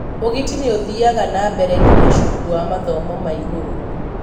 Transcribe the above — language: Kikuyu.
ũgiti ũyũ nĩ ũthiaga na mbere nginya cukuru wa mathomo ma igũrũ.